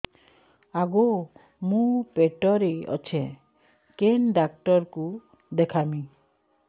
ଆଗୋ ମୁଁ ପେଟରେ ଅଛେ କେନ୍ ଡାକ୍ତର କୁ ଦେଖାମି